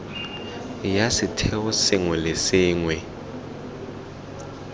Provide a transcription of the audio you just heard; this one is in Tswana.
ya setheo sengwe le sengwe